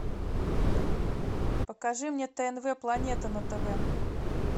покажи мне тнв планета на тв